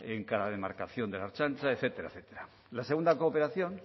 en cada demarcación de la ertzaintza etcétera etcétera la segunda cooperación